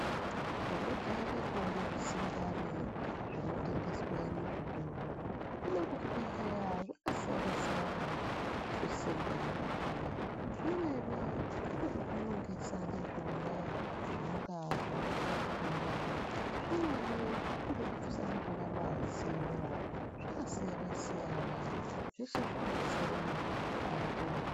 Tandojaire kuone zvisingwani zvinotengeswe muzvitoro hino kuzvibhedhleya zvakasiyana siyana zvisingwani zvakhona zvimweni ngezvekunongesa ndizvona zvinenga zviri mukati mwenyama zvimweni ngezvekubvisa ndizvona mazino zvakasiyana siyana zveshe zvinodetsere muntu kuti apone.